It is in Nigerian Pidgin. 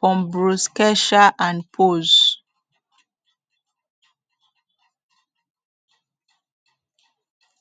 pembrokeshire and powys